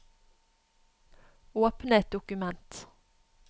Åpne et dokument